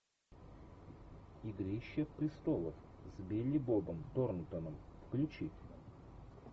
игрища престолов с билли бобом торнтоном включи